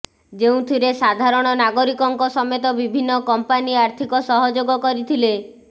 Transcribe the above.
ଯେଉଁଥିରେ ସାଧାରଣ ନାଗରିକଙ୍କ ସମେତ ବିଭିନ୍ନ କମ୍ପାନୀ ଆର୍ଥିକ ସହଯୋଗ କରିଥିଲେ